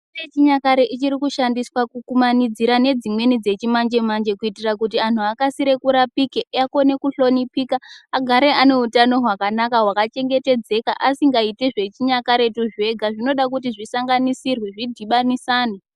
Mitombo yechinyakare ichiri kushandiswa kukumanidzira nedzimweni dzechimanjemanje kuitira kuti anhu akasire kurapika akone kuhlonipika agare aneutano hwakanaka hwakachengetdzeka asingaiti zvechinyakaretu zvega zvinode kuti zvisanganisirwe zvidhibanisanwe.